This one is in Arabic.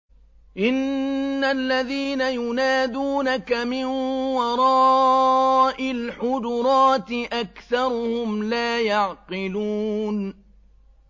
إِنَّ الَّذِينَ يُنَادُونَكَ مِن وَرَاءِ الْحُجُرَاتِ أَكْثَرُهُمْ لَا يَعْقِلُونَ